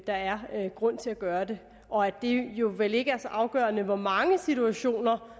der er grund til at gøre det og at det jo vel ikke er så afgørende i hvor mange situationer